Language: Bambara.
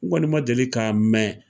N kɔni ma deli ka mɛn.